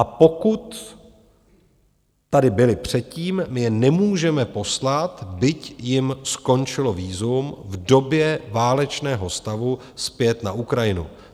A pokud tady byli předtím, my je nemůžeme poslat, byť jim skončilo vízum v době válečného stavu, zpět na Ukrajinu.